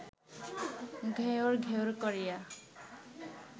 ঘ্যাঁওর ঘ্যাঁওর করিয়া